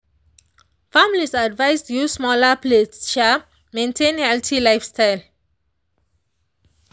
families advised use smaller plates um maintain healthy lifestyle.